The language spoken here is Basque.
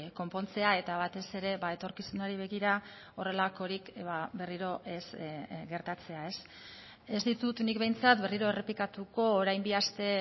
konpontzea eta batez ere etorkizunari begira horrelakorik berriro ez gertatzea ez ditut nik behintzat berriro errepikatuko orain bi aste